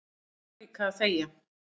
Þeir kunna líka að þegja